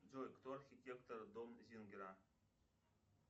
джой кто архитектор дом зингера